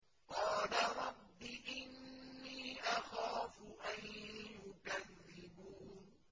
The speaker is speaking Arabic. قَالَ رَبِّ إِنِّي أَخَافُ أَن يُكَذِّبُونِ